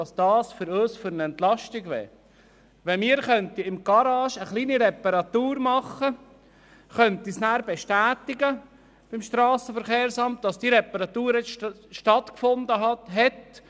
Sie sprachen von einer grossen Entlastung, wenn sie in ihren Werkstätten kleine Reparaturen durchführen und zuhanden des SVSA bestätigen könnten, dass die Reparatur stattgefunden habe.